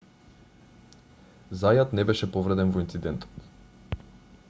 зајат не беше повреден во инцидентот